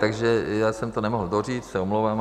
Takže já jsem to nemohl doříct, se omlouvám.